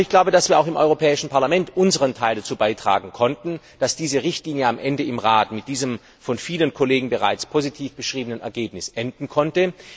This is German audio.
Aber ich glaube, dass wir auch im Europäischen Parlament unseren Teil dazu beitragen konnten, dass diese Richtlinie am Ende im Rat mit diesem von vielen Kollegen bereits positiv beschriebenen Ergebnis enden konnte.